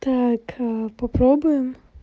так попробуем